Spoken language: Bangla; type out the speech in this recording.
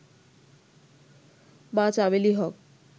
মা চামেলি হক